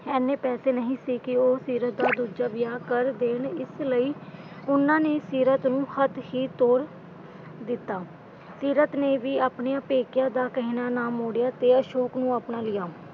ਐਨੇ ਪੈਸੇ ਨਹੀਂ ਕਿ ਉਹ ਸੀਰਤ ਦਾ ਦੂਜਾ ਵਿਆਹ ਕਰ ਦੇਣ, ਇਸ ਲਈ ਉਨ੍ਹਾਂ ਨੇ ਸੀਰਤ ਨੂੰ ਹੱਥ ਹੀ ਤੋਰ ਦਿੱਤਾ। ਸੀਰਤ ਨੇ ਵੀ ਆਪਣਿਆਂ ਪੇਕਿਆਂ ਦਾ ਕਹਿਣਾ ਨਾ ਮੋੜਿਆ ਤੇ ਅਸ਼ੋਕ ਨੂੰ ਆਪਣਾ ਲਿਆ।